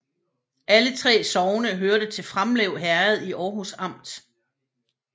Alle 3 sogne hørte til Framlev Herred i Aarhus Amt